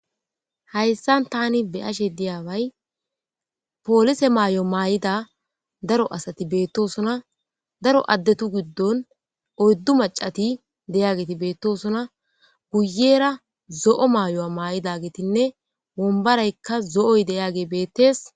Hayssa tani be'ashe de'ayabbay polise mayo mayida daro asati betosona daro adatu gidon oyddu mac'ati de'iyageti betosona guyera zo'o mayo mayidagetinne wombboraykka zo'o de'iyagey beetes.